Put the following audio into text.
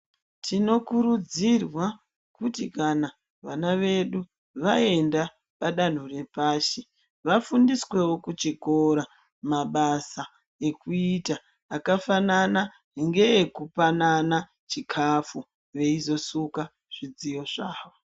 Tinokurudzirwa kuti kana vana vedu vaenda padanho repashi vafundiswewo kuchikora mabasa ekuita akafanana ngekupanana chikafu veizosuka zvidziyo zvawo.